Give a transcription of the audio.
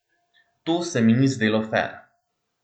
To se mi ni zdelo fer.